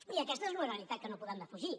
i aquesta és una realitat que no podem defugir